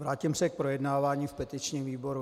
Vrátím se k projednávání v petičním výboru.